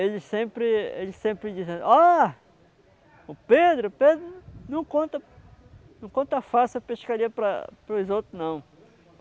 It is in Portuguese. Eles sempre eles sempre dizem ó, o Pedro o Pedro não conta não conta fácil a pescaria para para os outros, não.